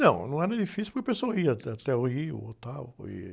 Não, não era difícil porque a pessoa ia até, até o Rio, ou tal, e...